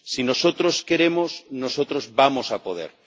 Si nosotros queremos nosotros vamos a poder.